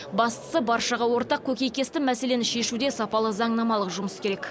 бастысы баршаға ортақ көкейкесті мәселені шешуде сапалы заңнамалық жұмыс керек